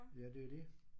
Ja det er jo det